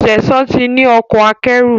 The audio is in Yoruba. Sesan tí ní Ọkọ̀ akẹ́rù.